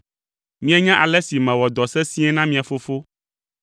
Mienya ale si mewɔ dɔ sesĩe na mia fofo,